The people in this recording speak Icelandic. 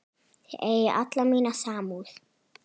Þið eigið alla mína samúð.